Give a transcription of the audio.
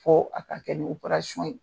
Fɔ a ka kɛ ni ye